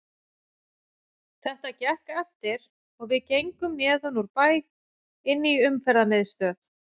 Þetta gekk eftir og við gengum neðan úr bæ inn í Umferðarmiðstöð.